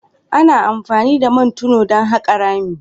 Ana amfani da mai tono don haƙa rami.